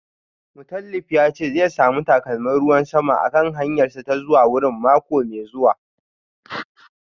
Mutalib ya ce zai samu takalmin ruwan sama a kan hanyarsa ta zuwa wurin mako mai zuwa